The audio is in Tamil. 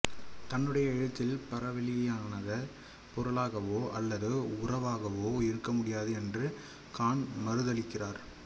தன்னுடைய எழுத்தில் பரவெளியானது பொருளாகவோ அல்லது உறவாகவோ இருக்க முடியாது என்று காண்ட் மறுதலிக்கிறார்